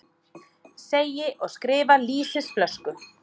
Segi og skrifa lýsisflösku.